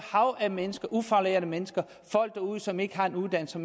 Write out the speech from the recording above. hav af mennesker ufaglærte mennesker folk derude som ikke har en uddannelse